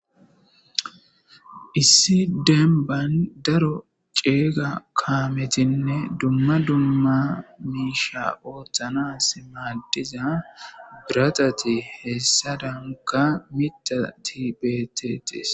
issi demban daro ceega kaametinne dumma dumma miisha ooththanas maadiza biratati heessa damuka mita tibeetetis